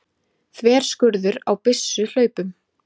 Þverskurður á byssuhlaupum.